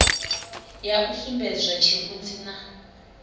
ya u sumbedzwa tshirunzi na